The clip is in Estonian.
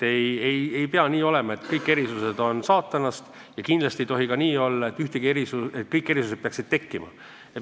Ei pea mõtlema nii, et kõik erisused on saatanast, aga kindlasti ei tohi olla ka nii, et kõik erisused peaksid tekkima.